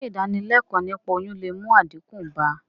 Sé ìdánilékòó niípa oyún le mú àdínkù bá...